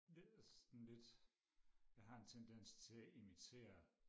sådan lidt jeg har en tendens til og imitere